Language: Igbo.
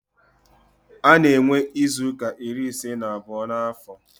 A na-enwe izuuka iri ise na abụọ n'afọ.